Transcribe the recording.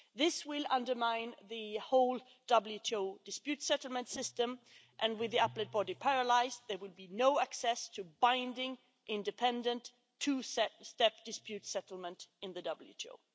This will undermine the whole WTO dispute settlement system, and, with the Appellate Body paralysed, there will be no access to binding independent two step dispute settlement in the WTO.